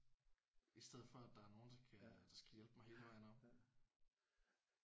I stedet for at der er nogen der skal der skal hjælpe mig hele vejen op